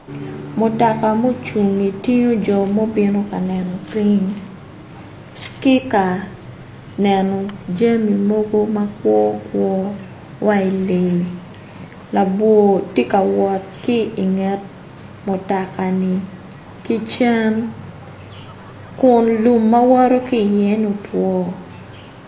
Mutoka mucingi tingo jo ma gubino ka neno piny labwor tye ka wot kun lum ma woto ki i ye ni otwo.